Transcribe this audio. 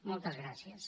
moltes gràcies